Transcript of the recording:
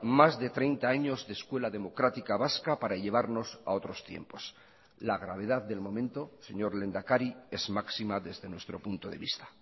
más de treinta años de escuela democrática vasca para llevarnos a otros tiempos la gravedad del momento señor lehendakari es máxima desde nuestro punto de vista